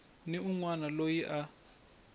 ni un wana loyi a